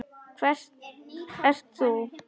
Hver ert þú?